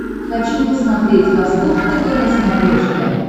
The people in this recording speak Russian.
хочу посмотреть восток тв на смотрешке